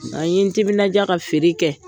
A yen n timinaja ka feere kɛ.